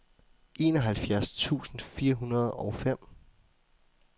enoghalvfjerds tusind fire hundrede og fem